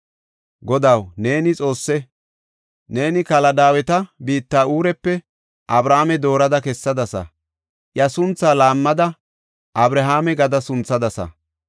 Godaw, neeni Xoosse! Neeni Kaldaaweta biitta Uurepe Abrame doorada kessadasa. Iya sunthaa laammada Abrahaame gada sunthadasa.